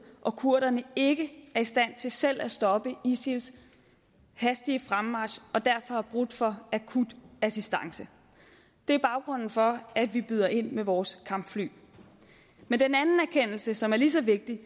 og kurderne ikke er i stand til selv at stoppe isils hastige fremmarch og derfor har brug for akut assistance det er baggrunden for at vi byder ind med vores kampfly men den anden erkendelse som er lige så vigtig